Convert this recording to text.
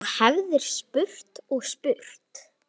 Þú hefðir spurt og spurt.